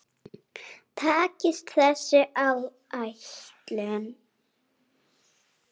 Takist þessi áætlun